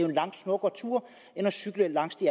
en langt smukkere tur end at cykle langs de